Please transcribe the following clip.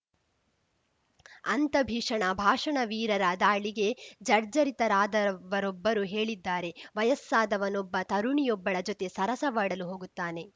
ಅಂತ ಭೀಷಣ ಭಾಷಣವೀರರ ದಾಳಿಗೆ ಜರ್ಜರಿತರಾದವರೊಬ್ಬರು ಹೇಳಿದ್ದಾರೆ ವಯಸ್ಸಾದವನೊಬ್ಬ ತರುಣಿಯೊಬ್ಬಳ ಜೊತೆ ಸರಸವಾಡಲು ಹೋಗುತ್ತಾನೆ